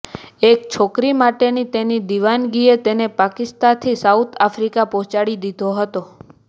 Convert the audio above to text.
એક છોકરી માટેની તેની દિવાનગીએ તેને પાકિસ્તાથી સાઉથ આફ્રિકા પહોંચાડી દીધો હતો